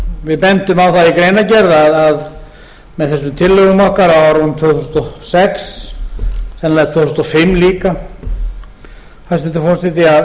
við bendum á það í greinargerð að með þessum tillögum okkar á árunum tvö þúsund og sex sennilega tvö þúsund og fimm líka hæstvirtur forseti að